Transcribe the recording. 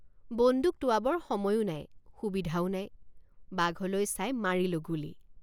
বন্দুক টোঁৱাবৰ সময়ো নাই সুবিধাও নাইবাঘলৈ চাই মাৰিলোঁ গুলী।